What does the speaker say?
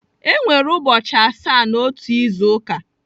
Enwere ụbọchị asaa n'otu izu ụka.